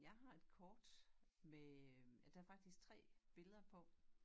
Jeg har et kort med øh der faktisk 3 billeder på